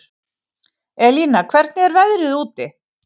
Elína, hvernig er veðrið úti?